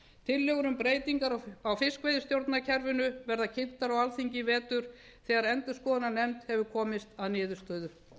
tillögur um breytingar á fiskveiðistjórnarkerfinu verða kynntar á alþingi í vetur þegar endurskoðunarnefnd hefur komist að niðurstöðu